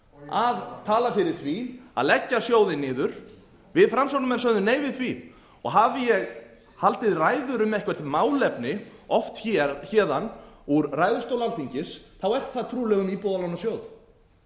að tala fyrir því að leggja sjóðinn niður við framsóknarmenn sögðum nei við því og hafi ég haldið ræður um eitthvert málefni oft héðan úr ræðustól alþingis er það trúlega um íbúðalánasjóð